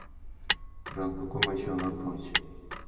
Rang commercial approach